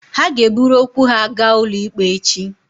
Ha ga-eburu okwu ha gaa ụlọ ikpe echi